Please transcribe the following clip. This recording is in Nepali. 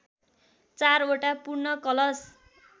चारवटा पूर्ण कलश